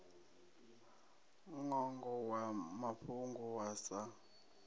ṅwongo wa mafhungo wa sa